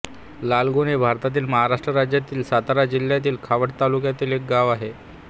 लालगुण हे भारतातील महाराष्ट्र राज्यातील सातारा जिल्ह्यातील खटाव तालुक्यातील एक गाव आहे